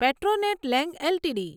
Petronet LNG LTD